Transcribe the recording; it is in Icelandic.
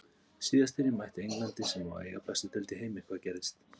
Síðast þegar ég mætti Englandi, sem á að eiga bestu deild í heimi- hvað gerðist?